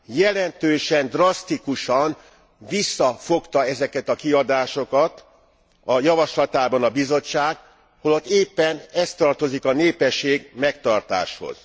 Jelentősen, drasztikusan visszafogta ezeket a kiadásokat a javaslatában a Bizottság, holott éppen ez tartozik a népesség megtartáshoz.